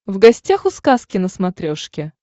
в гостях у сказки на смотрешке